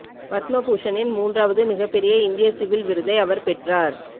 பத்ம பூஷனின் மூன்றாவது மிகப்பெரிய இந்திய சிவில் விருதை அவர் பெற்றார்